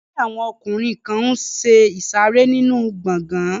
Ẹgbẹ́ àwọn ọkùnrin kan n ṣe ìsàrẹ́ nínu gbọgán